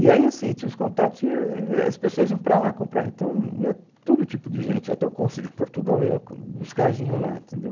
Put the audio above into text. E aí, assim, tinha os contatos e e e as pessoas iam para lá comprar, então ia todo tipo de gente, até o cônsul de Portugal ia busca vinho lá, entendeu?